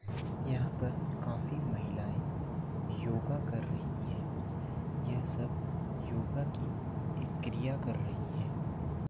यहाँ पर काफी महिलायें योगा कर रही हैं ये सब योगा की एक क्रिया कर रही हैं।